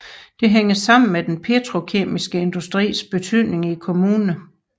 Dette hænger sammen med den petrokemiske industris betydning i kommunen